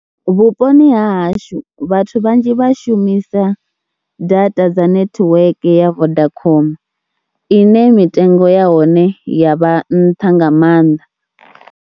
Vhuponi ha hashu vhathu vhanzhi vhashumisa data dza netiweke ya Vodacom ine mitengo ya hone ya vha nṱha nga maanḓa.